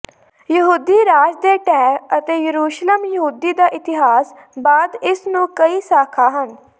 ਯਹੂਦੀ ਰਾਜ ਦੇ ਢਹਿ ਅਤੇ ਯਰੂਸ਼ਲਮ ਯਹੂਦੀ ਦਾ ਇਤਿਹਾਸ ਬਾਅਦ ਇਸ ਨੂੰ ਕਈ ਸ਼ਾਖਾ ਹਨ